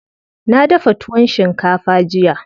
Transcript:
Na dafa tuwon shinkafa jiya.